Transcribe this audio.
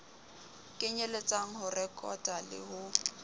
kenyelletsang ho rekota le ho